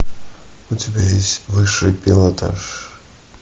у тебя есть высший пилотаж